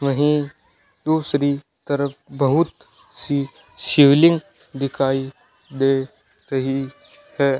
वहीं दूसरी तरफ बहुत सी शिवलिंग दिखाई दे रही है।